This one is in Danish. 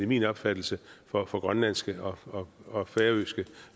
min opfattelse for for grønlandske og færøske